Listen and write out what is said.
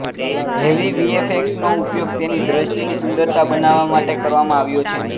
heavy વીએફએક્સનો ઉપયોગ તેને દૃષ્ટિની સુંદર બનાવવા માટે કરવામાં આવ્યો છે